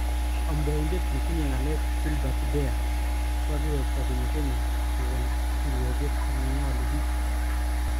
Amdoindet netinye ngalek Gilbert Deya kokakiwekta kenya kowol kirwoget nengole bik